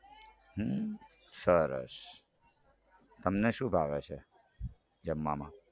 હમ સરસ તમને શું ભાવે છે જમવામાં